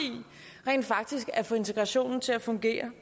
rent faktisk at få integrationen til at fungere